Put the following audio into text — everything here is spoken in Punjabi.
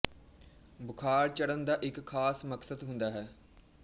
ਬੁਖਾਰ ਚੜ੍ਹਨ ਦਾ ਇੱਕ ਖ਼ਾਸ ਮਕਸਦ ਹੁੰਦਾ ਹੈ